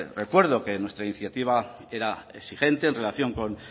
recuerdo que nuestra iniciativa era exigente en relación con